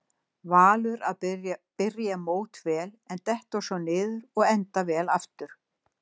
Valur að byrja mót vel en detta svo niður og enda vel aftur?